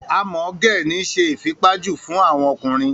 A mọ ge ni ṣe ifipaju fun awọn ọkunrin.